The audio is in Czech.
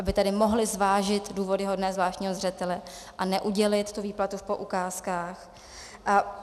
Aby tedy mohli zvážit důvody hodné zvláštního zřetele a neudělit tu výplatu v poukázkách.